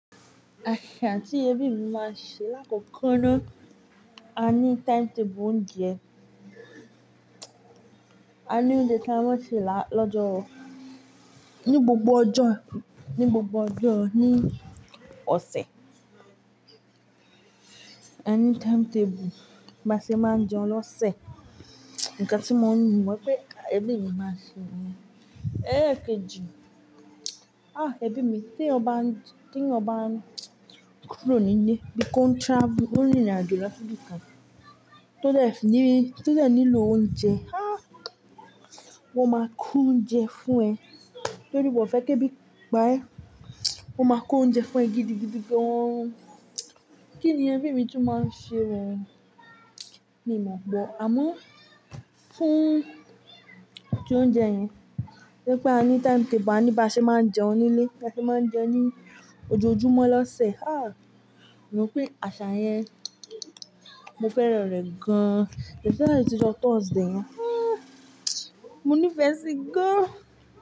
Àṣà tí ẹbí mi máa ń ṣe lákòókò náà, a ní timetable oúnjẹ. A ní oúnjẹ tí a máa ń ṣe lọ́jọ́-- ní gbogbo ọjọ́, ní gbogbo ọjọ́ ni ọ̀sẹ̀. A ní timetable báṣe máa ń jẹun lọ́sẹ̀. Ǹnkan tí mo ń nu, mo pẹ́ ẹbí mi máa ṣe nìyẹn, ẹ́leekẹji, "Ah ẹbí mi tí èèyàn bá ń, tí ó bá ń kúrò nílé bí ko ń travel o ń rìrìn àjò lọ síbikàn, tó dè ní, tó dè nílò oúnjẹ, ah wọ́n máa kó oúnjẹ fún ẹ. Tórí wọ́n fẹ́ kí ebi pa ẹ́, wọ́n máa kó oúnjẹ fún ẹ gidigidi gan." Kí ni ẹbí mi tún máa ń ṣe oo. Mi ò mọ̀, àmọ́ fún tí óuńjẹ yẹn, torí pé a ní timetable, a ní báa ṣe máa ń jẹun nílé, báa ṣe máa ń jẹun ní ojoojúmọ́ lọ́sẹ̀. Ah mo pè àṣà yẹn mo fẹ́ràn rẹ̀ gan. Especially tí ọjọ́ Thursday yẹn, ah mo nífẹ̀ẹ́ sí i gan.